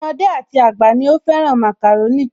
Ọmọdé àti àgbà ni ó fẹ́ràn màkàrónì